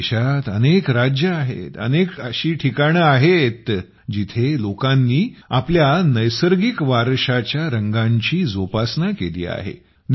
आपल्या देशात अनेक राज्ये आहेत अशी अनेक ठिकाणे आहेत जिथे लोकांनी आपल्या नैसर्गिक वारशाच्या रंगांची जोपासना केली आहे